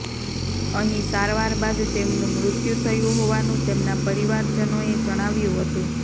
અહીં સારવાર બાદ તેમનું મૃત્યું થયું હોવાનું તેમના પરિવારજનોએ જણાવ્યું હતું